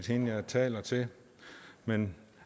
hende jeg taler til men